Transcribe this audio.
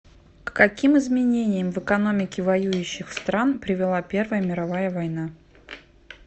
к каким изменениям в экономике воюющих стран привела первая мировая война